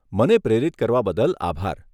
મને પ્રેરિત કરવા બદલ આભાર.